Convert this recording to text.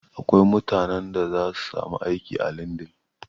Akwai mutanen da zasu samu aiki a lindin